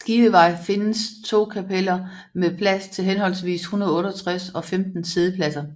Skivevej findes 2 kapeller med plads til henholdsvis 168 og 15 siddepladser